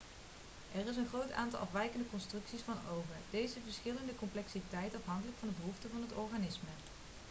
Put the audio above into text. er is een groot aantal afwijkende constructies van ogen deze verschillen in de complexiteit afhankelijk van de behoeften van het organisme